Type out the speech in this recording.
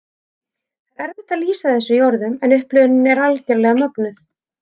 Það er erfitt að lýsa þessu í orðum, en upplifunin er algerlega mögnuð.